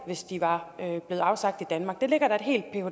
hvis de var blevet afsagt i danmark det ligger der